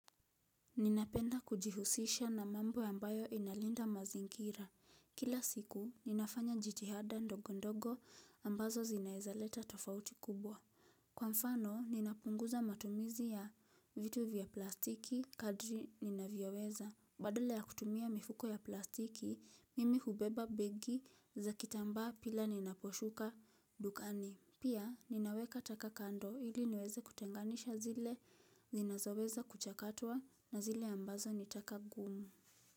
Ninapenda kujihusisha na mambo ya ambayo inalinda mazingira. Kila siku, ninafanya jitihada ndogo ndogo ambazo zinaezaleta tofauti kubwa. Kwa mfano, ninapunguza matumizi ya vitu vya plastiki kadri ninavyoweza. Badala ya kutumia mifuko ya plastiki, mimi hubeba begi za kitamba pila ninaposhuka dukani. Pia ninaweka taka kando ili niweze kutenganisha zile zinazoweza kuchakatwa na zile ambazo ni taka ngumu.